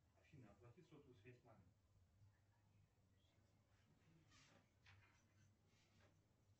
афина оплати сотовую связь маме